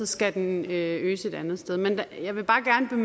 skal den øges et andet sted men jeg vil bare gerne